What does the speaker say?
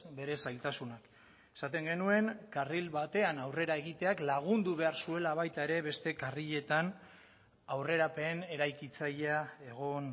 bere zailtasunak esaten genuen karril batean aurrera egiteak lagundu behar zuela baita ere beste karriletan aurrerapen eraikitzailea egon